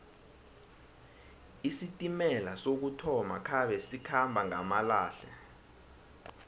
isitimela sokuthoma khabe sikhamba ngamalehle